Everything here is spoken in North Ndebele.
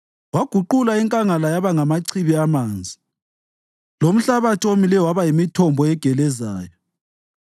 Waguqula inkangala yaba ngamachibi amanzi lomhlabathi owomileyo waba yimithombo egelezayo;